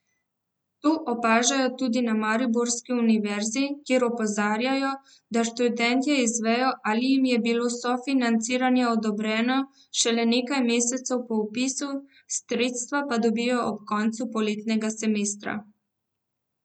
To opažajo tudi na mariborski univerzi, kjer opozarjajo, da študentje izvejo, ali jim je bilo sofinanciranje odobreno, šele nekaj mesecev po vpisu, sredstva pa dobijo ob koncu poletnega semestra.